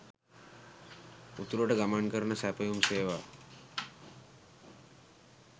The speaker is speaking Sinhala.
උතුරට ගමන් කරන සැපයුම් සේවා